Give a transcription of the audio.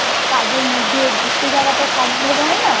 কাজের মধ্যে ঘুরতে যাওয়াটা সম্ভব হয় না